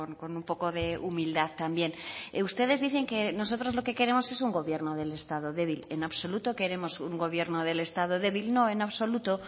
con un poco de humildad también ustedes dicen que nosotros lo que queremos es un gobierno del estado débil en absoluto queremos un gobierno del estado débil no en absoluto